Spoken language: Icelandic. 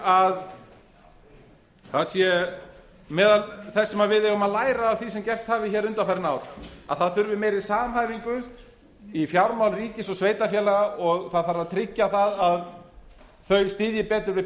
að það sé meðal þess sem við eigum að læra af því sem gerst hefur hér undanfarin ár að það þurfi meiri samhæfingu í fjármál ríkis og sveitarfélaga og það þarf að tryggja það að þau styðji betur við